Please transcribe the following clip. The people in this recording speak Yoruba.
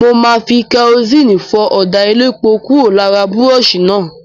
Mo máa fi kẹrosíìnì fọ ọ̀dà elépo kúrò lára búrọ́ọ̀ṣì náà.